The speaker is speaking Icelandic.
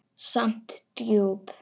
Samt djúp.